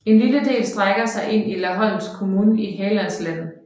En lille del strækker sig ind i Laholms kommun i Hallands län